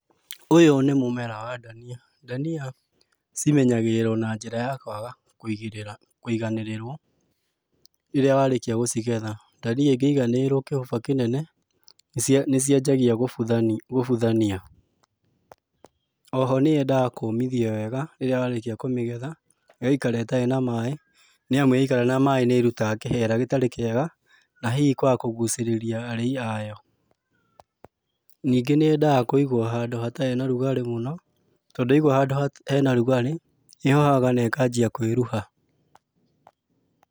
Ũyũ nĩ mũmera wa dania. Dania cimenyagĩrĩrũo na njĩra ya kwaga kũigĩrĩra kũiganĩrĩrũo, rĩrĩa warĩkia gũcigetha. Dania ĩngĩiganĩrĩrũo kĩhũba kĩnene nĩcianjagia gũbũthania. Oho nĩyendaga kũmithio wega, rĩrĩa warĩkia kũmĩgetha, ĩgaikara ĩtarĩ na maĩ, nĩ amu yaikara na maĩ nĩ ĩrutaga kĩhera gĩtarĩ kĩega, na hihi kwaga kũgucĩrĩria arĩi ayo. Ningĩ nĩyendaga kũigũo handũ hatarĩ na rugarĩ mũno, tondũ yaigũo handũ hena rũgarĩ, ĩhohaga na ĩkanjia kwĩruha.